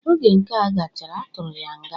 Oge nkea gachara, atụrụ ya nga.